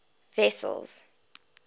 wessels